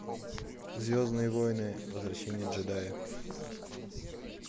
звездные войны возвращение джедая